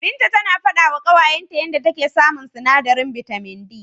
Binta tana faɗawa ƙawayenta yanda take samun sinadarin bitamin D.